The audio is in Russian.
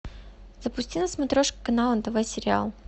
запусти на смотрешке канал нтв сериал